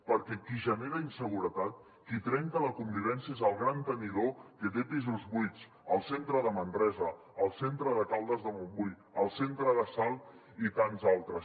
perquè qui genera inseguretat qui trenca la convivència és el gran tenidor que té pisos buits al centre de manresa al centre de caldes de montbui al centre de salt i tants altres